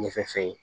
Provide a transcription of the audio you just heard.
Ɲɛfɛ